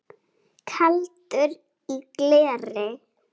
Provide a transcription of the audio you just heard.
Kaldur í gleri